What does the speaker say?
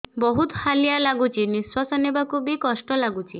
ବହୁତ୍ ହାଲିଆ ଲାଗୁଚି ନିଃଶ୍ବାସ ନେବାକୁ ଵି କଷ୍ଟ ଲାଗୁଚି